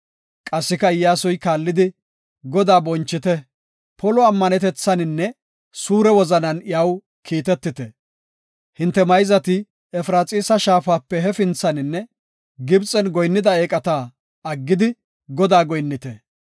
Qassika Iyyasuy kaallidi, “Godaa bonchite; polo ammanetethaninne suure wozanan iyaw kiitetite. Hinte mayzati Efraxiisa shaafape hefinthaninne Gibxen goyinnida eeqata aggidi Godaa goyinnite.